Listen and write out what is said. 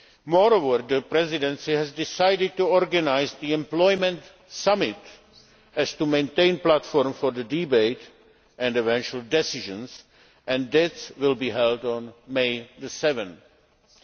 Moreover, the Presidency has decided to organise the Employment Summit so as to maintain a platform for the debate and eventual decisions, and that will be held on 7 May.